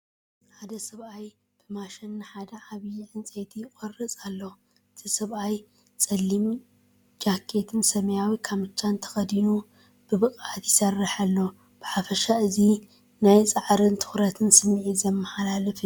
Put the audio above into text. ሓደ ሰብኣይ ብሰንሰለት ንሓደ ዓብይ ዕንጨይቲ ይቖርጽ ኣሎ። እቲ ሰብኣይ ጸሊም ጃኬትን ሰማያዊ ካምቻን ተኸዲኑ ብብቕዓት ይሰርሕ ኣሎ። ብሓፈሻ እዚ ናይ ጻዕርን ትኹረትን ስምዒት ዘመሓላልፍ እዩ።